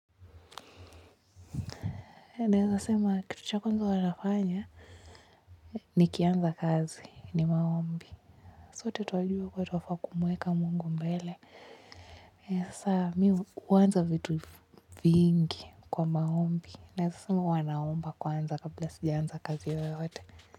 Naeza sema kitu cha kwanza huwa nafanya nikianza kazi ni maombi. Sote twajua kuwa twafaa kumweka Mungu mbele. Sasa mimi huanza vitu vingi kwa maombi. Naeza sema huwa naomba kwanza kabla sijaanza kazi yoyote.